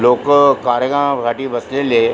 लोक कार्यक्रमा साठी बसलेले आहे.